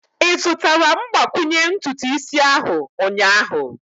Ị zụtara mgbakwunye ntutu isi ahu ụnyaahụ?